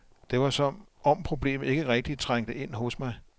Det var som om problemet ikke rigtigt trængte ind hos mig.